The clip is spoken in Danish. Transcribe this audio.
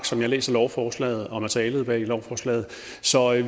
som jeg læser lovforslaget og materialet bag lovforslaget så